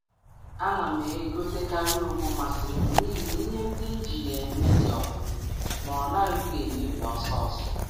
A na um m azuta na um edobe ọtụtụ ụdị ogbo m um masịrị m mgbe niile n’ihi na ha na-adịru ogologo oge n’iji ha.